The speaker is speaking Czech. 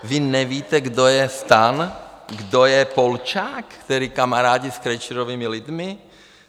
Vy nevíte, kdo je STAN, kdo je Polčák, který kamarádí s Krejčířovými lidmi?